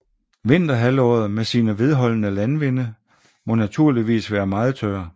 Vinterhalvåret med sine vedholdende landvinde må naturligvis være meget tør